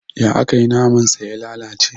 Ya akayi naman sa ya lalace?